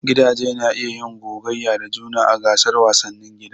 Gidaje na iya yin gogayya da juna a gasar wasannin gida.